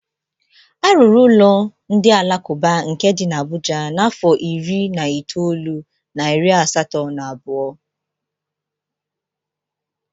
Arụrụ ụlọ ndị alakụba nke dị n'Abuja n'afọ iri na itoolu na iri asatọ na abụọ.